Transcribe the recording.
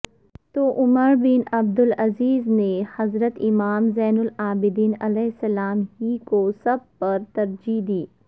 توعمربن عبدالعزیزنے حضرت امام زین العابدین علیہ السلام ہی کوسب پرترجیح دی